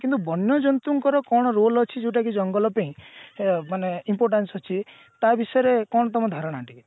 ବନ୍ୟ ଜନ୍ତୁଙ୍କର କଣ role ଅଛି ଯୋଉଟା କି ଜଙ୍ଗଲ ପେଇଁ ଏ ମାନେ importance ଅଛି ତା ବିଷୟରେ କଣ ତମ ଧାରଣା ଟିକେ